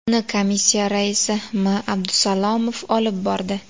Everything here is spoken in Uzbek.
Uni komissiya raisi M. Abdusalomov olib bordi.